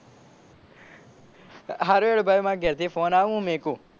સારું હેડ ભાઈ માર ઘેર થી ફોન આવે હું મેકુ.